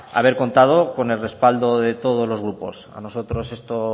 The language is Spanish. haber contado con el respaldo de todos los grupos a nosotros esto